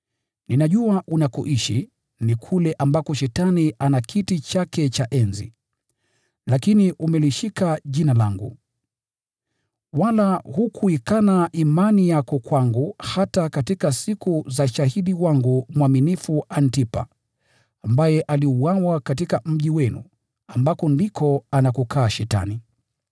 Ninajua unakoishi, ni kule ambako Shetani ana kiti chake cha enzi. Lakini umelishika Jina langu. Wala hukuikana imani yako kwangu hata katika siku za shahidi wangu mwaminifu Antipa, ambaye aliuawa katika mji mkuu wenu, ambako ndiko anakoishi Shetani.